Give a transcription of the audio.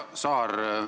Härra Saar!